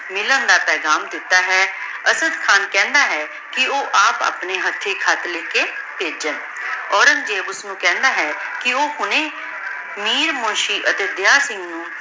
ਮਿਲਣ ਦਾ ਪੇਗਾਮ ਦਿਤਾ ਹੈ ਅਸਦ੍ਦ ਖਾਨ ਕਹੰਦਾ ਹੈ ਕੇ ਊ ਆਪ ਅਪਨੇ ਹਾਥੀ ਪੇਘਾਮ ਲੇ ਕੇ ਨਹੇਜ੍ਯ ਔਰੇਨ੍ਗ੍ਜ਼ੇਬ ਓਸਨੂ ਕਹੰਦਾ ਹੈ ਕੇ ਊ ਕੋਈ ਮੀਰ ਮੁਨਸ਼ੀ ਅਤੀ ਦਿਯਾ ਸਿੰਘ ਨੂ